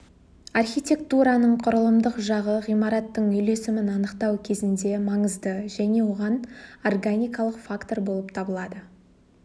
архитектураның құрылымдық жағы ғимараттың үйлесімін анықтау кезінде маңызды және органикалық фактор болып табылады